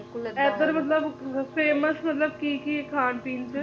ਏਧਰ ਮਤਲਬ famous ਮਤਲਬ ਕੀ ਕੀ ਖਾਣ ਪੀਣ ਚ